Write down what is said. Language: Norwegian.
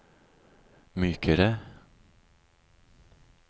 mykere